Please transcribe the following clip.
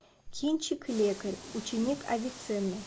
кинчик лекарь ученик авиценны